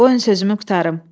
Qoyun sözümü qurtarım.